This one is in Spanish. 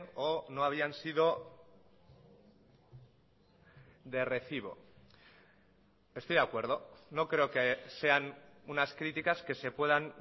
o no habían sido de recibo estoy de acuerdo no creo que sean unas críticas que se puedan